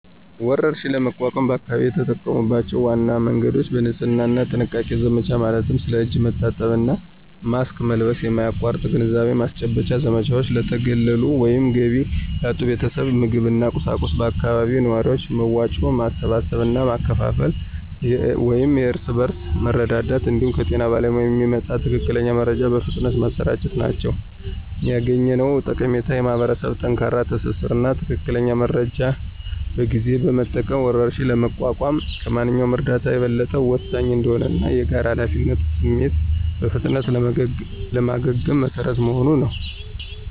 ወረርሽኝን ለመቋቋም በአካባቢው የተጠቀሙባቸው ዋና መንገዶች: የንጽህና እና ጥንቃቄ ዘመቻ ማለትም ስለ እጅ መታጠብ እና ማስክ መልበስ የማያቋርጥ ግንዛቤ ማስጨበጫ ዘመቻዎች፣ ለተገለሉ ወይም ገቢ ላጡ ቤተሰቦች ምግብና ቁሳቁስ በአካባቢው ነዋሪዎች መዋጮ ማሰባሰብ እና ማከፋፈል (የእርስ በርስ መረዳዳት) እንዲሁም ከጤና ባለሙያዎች የሚመጣን ትክክለኛ መረጃ በፍጥነት ማሰራጨት ናቸው። ያገኘነው ጠቀሜታም የማኅበረሰብ ጠንካራ ትስስር እና ትክክለኛ መረጃን በጊዜ መጠቀም ወረርሽኝን ለመቋቋም ከማንኛውም እርዳታ የበለጠ ወሳኝ እንደሆነ እና የጋራ ኃላፊነት ስሜት በፍጥነት ለማገገም መሰረት መሆኑን ነው።